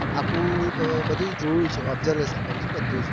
આખું બધું જોયું છે બધું observation કર્યું છે બધું જ